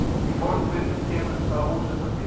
Í fornritum kemur það ósjaldan fyrir.